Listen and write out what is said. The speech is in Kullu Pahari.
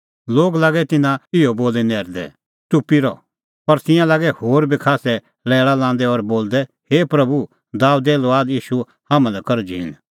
लोग लागै तिन्नां इहअ बोली नैरदै च़ुप्पी रह पर तिंयां लागै होर बी खास्सै लैल़ा लांदै और बोलदै हे प्रभू दाबेदे लुआद ईशू हाम्हां लै कर झींण